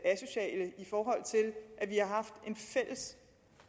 vi har haft en fælles